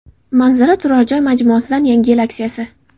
Manzara turar joy majmuasidan yangi yil aksiyasi.